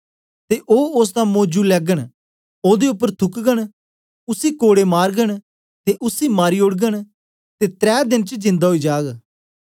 ते ओ ओसदा मौजु लैगन ओदे उपर थूकगन उसी कोड़े मारगन ते उसी मारी ओडगन ते त्रै देन च जिन्दा ओई जाग